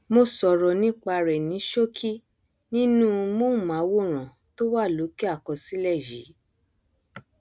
mo sọrọ nípa rẹ ní ṣókí nínú móhùnmáwòrán tó wà lókè àkọslẹ yìí